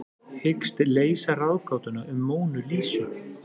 Hyggst leysa ráðgátuna um Mónu Lísu